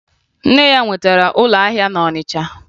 Nne ya nwetara ụlọahịa na Ọnịcha